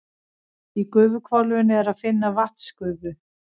Í gufuhvolfinu er að finna vatnsgufu.